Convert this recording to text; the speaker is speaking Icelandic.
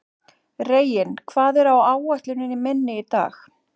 Reginn, hvað er á áætluninni minni í dag?